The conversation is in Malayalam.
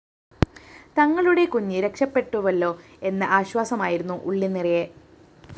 തങ്ങളുടെ കുഞ്ഞ് രക്ഷപ്പെട്ടുവല്ലോ എന്ന ആശ്വാസമായിരുന്നു ഉള്ളുനിറയെ